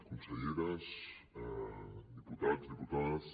conselleres diputats diputades